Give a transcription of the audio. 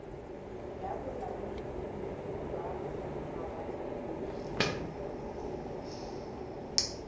ya bolaodi jwa mawatle le